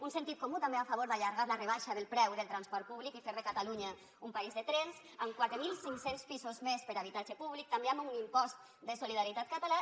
un sentit comú també a favor d’allargar la rebaixa del preu del transport públic i fer de catalunya un país de trens amb quatre mil cinc cents pisos més per a habitatge públic també amb un impost de solidaritat català